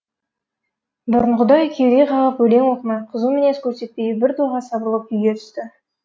бұрынғыдай кеуде қағып өлең оқымай қызу мінез көрсетпей біртоға сабырлы күйге түсті